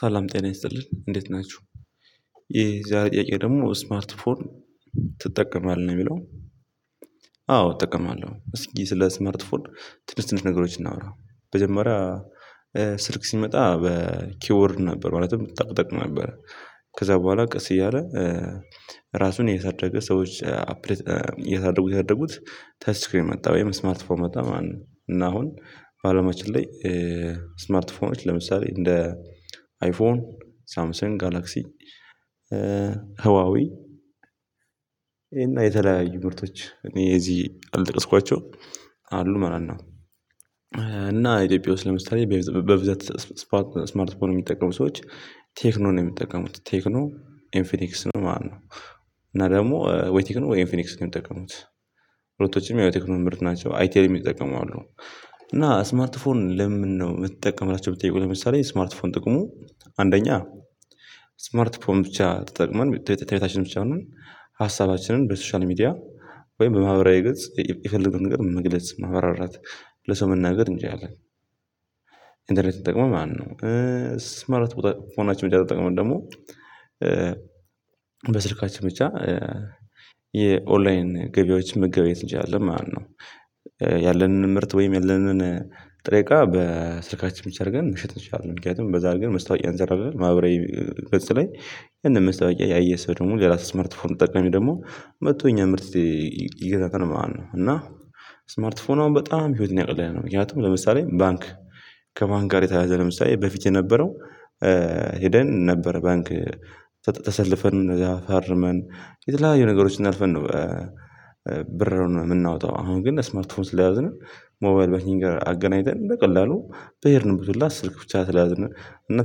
ሰላም ጤና ይስጥልኝ እንዴት ናችሁ ይሄ እዚያ ጥያቄ ደግሞ ስማርት ፎን ትጠቀማለህ ነው የሚለው? አዎ እጠቀማለሁ እስኪ ስለ ስማርት ፎን ትንሽ ትንሽ ነገሮችን እናውራ። መጀመሪያ ስልክ ሲመጣ በኪውወርድ ነበር ማለትም ጠቅ ጠቅ ነበር። ከዛ በኋላ ቀስ እያለ ራሱን እያሳደገ ሰዎች አፕዴት እያሳደጉት እያሳደጉት ተችስክሪ መጣ ወይም ስማርት ፎን መጣ ማለት ነው። እና አሁን ባለማችን ላይ ስማርት ፎኖች ለምሳሌ እንደ አይፎን ሳምሰንግ ጋላክሲ ህዋዊ ይሄን የተለያዩ ምርቶች እኔ እዚህ አልጠቀስኳቸውም አሉ ማለት ነው። እና ኢትዮጵያ ውስጥ ለምሳሌ በብዛት ስማርት ፎን የሚጠቀሙ ሰዎች ቴክኖ ነው የሚጠቀሙት ቴክኖ ኢምፊኒክስ ነው ማለት ነው። እና ደግሞ ወይ ቴክኖ ወይ ኢንፊኒክስ ነው የምጠቀሙት ሁለቶችም ያው ቴክኖሚ ምርት ናቸው አይቴልም የሚጠቀሙ አሉ፤። እና ስማርት ፎን ለምን ነው የምትጠቀም ብላችሁ ብትጠይቁኝ ለምሳሌ ስማርት ፎን ጥቅሙ አንደኛ ስማርት ፎን ብቻ ተጠቅመን ተቤታችን ብቻ ሆነን ሀሳባችንን በሶሻል ሚዲያ ወይም በማህበራዊ ገጽ የፈለገውን ነገር መግለጽ ማብራራት ለሰው መናገር እንችላለን። ኢንተርኔት ተጠቅመን ማለት ነው፤። ስማርት ፎን ብቻ ተጠቅመን ደግሞ በስልካችን ብቻ የኦንላይን ገበያዎችን መገበያየት እንችላለን ማለት ነው። ያለንን ምርት ወይም ያለንን ጥሬ እቃ በስልካችን ብቻ አድርገን መሸጥ እንችላለን ምክንያቱም በዛ አርገን ማስታወቂያ እንሰራለን ማህበራዊ ገጽ ላይ ያንን ማስታወቂያ ያየህ ሰው ደግሞ ሌላ ስማርት ፎን ተጠቃሚ ደግሞ መጥቶ የእኛን ምርት ይገዛታል ማለት ነው። እና ስማርት ፎን አሁን በጣም ህይወትን እያቀለለ ነው። ምክንያቱም ለምሳሌ ባንክ ከባንክ ጋር የተያያዘ ለምሳሌ በፊት የነበረው ሄደን ነበር ባንክ ተሰልፈን እዛ ፈርመን የተለያዩ ነገሮችን አልፈን ነው። ብር የምናወጣው አሁን ግን ስማርት ፎን ስለያዝንነ ሞባይል ባኪንግ ጋር አገናኝተን በቀላሉ በሄድንበት ሁላ ስልክ ብቻ ስለያዝንን እና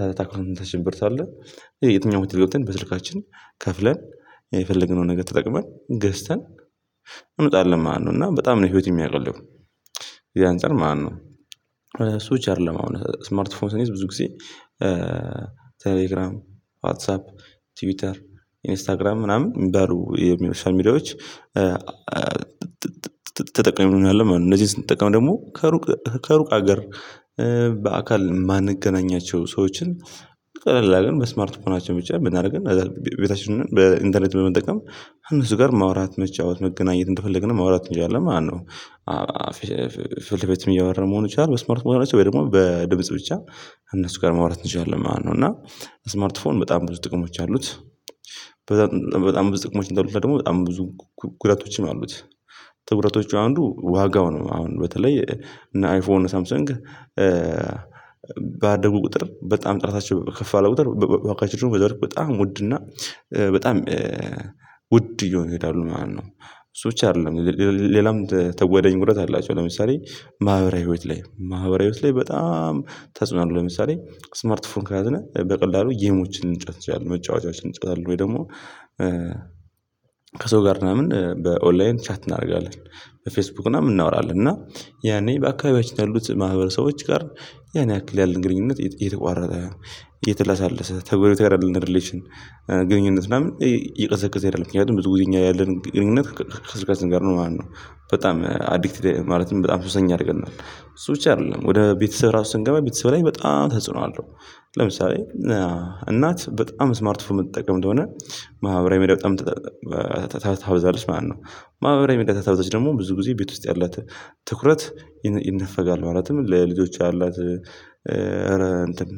ከአካውንታችን ብር ስላለ የትኛው ሆቴል ገብተን በስልካችን ከፍለን የፈለግነውን ነገር ተጠቅመን ገዝተን እንመጣለን ማለት ነው። እና በጣም ነው ህይወት የሚያውቀለው የዛ አንፃር ማለት ነው። እሱ ብቻ አይደለም አሁን ስማርት ፎን ብዙ ጊዜ ቴሌግራም ዋትሳፕ ቲዩተር ኢንስታግራም ምናምን የሚባሉ የሚሉ የሶሻል ሚዲያዎች ተጠቃሚ እንሆናለን ማለት ነው። እነዚህን ስንጠቀም ደግሞ ከሩቅ ከሩቅ ሀገር በአካል የማንገናኛቸው ሰዎችን ቀለል አድርገን በስማርት ፎናችን ብቻ ብናደርገን ቤታችን ሆነን በኢንተርኔት በመጠቀም ከእነሱ ጋር ማውራት መጫወት መገናኘት እንደፈለግንም ማውራት እንችላለን ማለት ነው፤ ፍልፍልም እያወራን መሆን ይችላል በስማርት ፎናችን ወይም ደግሞ በድምጽ ብቻ እነሱ ጋር ማውራት እንችላለን ማለት ነው። እና ስማርት ፎን በጣም ብዙ ጥቅሞች አሉት። በጣም ብዙ ጥቅሞች እንዳሉት ደግሞ በጣም ብዙ ጉዳቶችም አሉት፤። ከጉዳቶቹ አንዱ ዋጋው ነው አሁን በተለይ እና አይፎን ሳምሰንግ ባደርጉ ቁጥር በጣም ጥረታቸው ከፍ ባለ ቁጥር ዋጋቸው በጣም ውድ እና በጣም ውድ እየሆን ይሄዳሉ ማለት ነው። እሱ ብቻ አይደለም ሌላም ተጓዳኝ ጉዳት አላቸው ለምሳሌ ማህበራዊ ህይወት ላይ ማህበራዊ ህይወት ላይ በጣም ተጽኖ አለው ለምሳሌ ስማርት ፎን ከያዝነ በቀላሉ ጌሞችን ልንጫዎት እንችላለን መጫወቻዎችን እንጫወታለን ወይ ደግሞ። ከሰው ጋር ምናምን በኦንላይን ቻት እናደርጋለን በፌስቡክ ምናምን እናወራለን እና ያኔ በአካባቢያችን ያሉት ማህበረሰቦች ጋር ያን ያህክል ያለን ግንኙነት እየተቋረጠ እየተላሰለሰ ከጎረቤት ጋር ያለን ሪሌሽን ግንኙነት ምናምን እየቀዘቀዘ ይሄዳል ምክንያቱም ብዙ ጊዜ እኛ ያለን ግንኙነት ከስልካችን ጋር ነው ማለት ነው። በጣም አዲክትድ ማለትም በጣም ሱሰኛ ያደርገናል እሱ ብቻ አይደለም ወደ ቤተሰብ ራሱ ስንገባ ቤተሰብ ላይ በጣም ተጽዕኖ አለው። ለምሳሌ እናት በጣም ስማርት ፎን የምትጠቀም ከሆነ ማህበራዊ መዳበሪያ ታብዛለሽ ማለት ነው። ማህበራዊ መዳበሪያ ታብዛለሽ ደግሞ ብዙ ጊዜ ቤት ውስጥ ያላት ትኩረት ይነፈጋል ማለትም ለልጆች ያላት እረ እንትን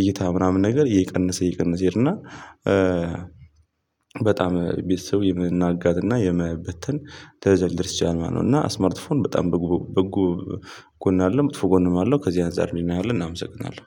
እይታ ምናምን ነገር እየቀነስ እየቀነስ ይሄድና በጣም ቤተሰብ የመናጋትና የመበተንደረጃ ሊደርስ ይችላል ማለት ነው። እና ስማርት ፎን በጣም በጎ ጎን አለው ጥሩ ጎን አለው ከዚህ አንፃር ልንለው እናመሰግናለን